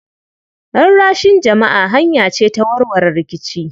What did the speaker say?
Rarrashin jama'a hanya ce ta warware rikici.